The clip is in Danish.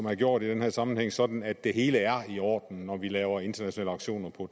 er gjort i den her sammenhæng sådan at det hele er i orden når vi laver internationale aktioner på